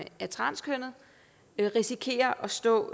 er transkønnet risikerer at stå